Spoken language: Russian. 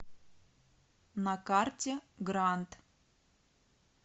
на карте гранд